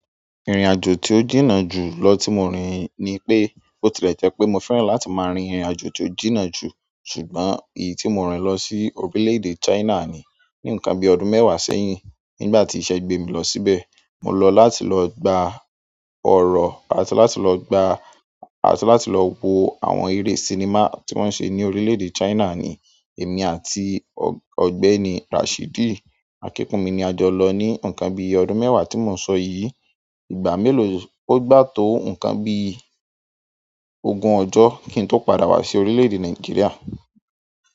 Ìrìnàjò tí ó jìnnà jù lọ tí mo rìn ni pé, ó ti lè jẹ́ pé mo fẹ́ràn láti máa rin ìrìnàjò tí ó jìnnà jù, ṣùgbọ́n èyí tí mo rìn lọ sí orílẹ̀-èdè China ni, ní nǹkan bí ọdún mẹ́wàá sẹ́yìn. Nígbà tí ìṣe gbé mi lọ síbẹ̀, mo lọ láti lọ gba ọ̀rọ̀, àti láti lọ gba-- àti láti lọ wo àwọn eré sinimá tí wọ́n ń ṣe ní orílẹ̀-èdè China ni. Èmi àti ọ̀gbẹ́ni Rashidi akíkunmi ni a jọ lọ ní nǹkan bí ọdún mẹ́wàá tí mo ń sọ yìí. Ìgbà mélòó ó gbà tó nǹkan bí ogún ọjọ́ kí n tó padà wá sí orílẹ̀-èdè Nàìjíríà.